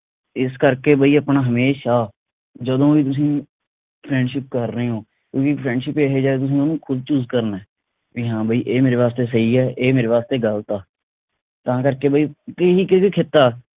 ਏਸ ਕਰਕੇ ਬਈ ਆਪਣਾ ਹਮੇਸ਼ਾ ਜਦੋਂ ਵੀ ਤੁਸੀ friendship ਕਰ ਰਹੇ ਓ ਤੁਸੀਂ friendship ਇਹ ਜਾ ਤੁਸੀ ਉਸਨੂੰ ਖੁਦ choose ਕਰਨਾ ਬਈ ਹਾ ਬਈ ਇਹ ਮੇਰੇ ਵਾਸਤੇ ਸਹੀ ਆ ਇਹ ਮੇਰੇ ਵਾਸਤੇ ਗਲਤ ਆ ਤਾਂ ਕਰਕੇ ਬਈ ਬਈ ਕਿਸੇ